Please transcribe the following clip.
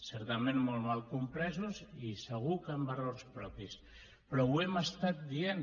certament molt mal compresos i segur que amb errors propis però ho hem dit